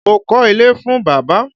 Mo kọ́ ilé fún bàbá.